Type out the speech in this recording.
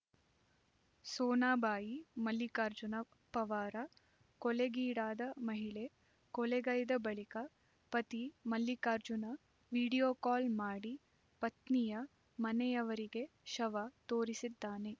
ಸೋನಾಬಾಯಿ ಮಲ್ಲಿಕಾರ್ಜುನ ಪವಾರ ಕೊಲೆಗೀಡಾದ ಮಹಿಳೆ ಕೊಲೆಗೈದ ಬಳಿಕ ಪತಿ ಮಲ್ಲಿಕಾರ್ಜುನ ವಿಡಿಯೋಕಾಲ್ ಮಾಡಿ ಪತ್ನಿಯ ಮನೆಯವರಿಗೆ ಶವ ತೋರಿಸಿದ್ದಾನೆ